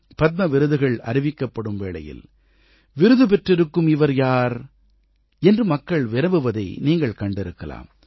பத்ம விருதுகள் அறிவிக்கப்படும் வேளையில் விருது பெற்றிருக்கும் இவர் யார் என்று மக்கள் வினவுவதை நீங்கள் கண்டிருக்கலாம்